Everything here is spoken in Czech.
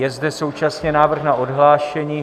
Je zde současně návrh na odhlášení.